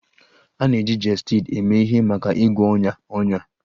A na-eji Gestid eme ihe maka ịgwọ ọnya ọnya